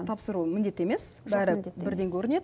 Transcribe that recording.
тапсыруы міндет емес бәрі бірден көрінеді